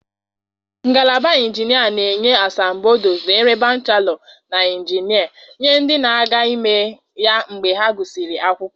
Ngalaba injinia na-enye asambodo nzere bachelọ na injinia nye ndị na-aga ime ya mgbe ha gụsịrị akwụkwọ.